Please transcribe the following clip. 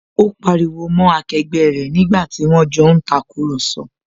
Ó pariwo mọ́ akẹgbẹ́ rẹ̀ nígbàtí wón jọ ń tàkurọ̀sọ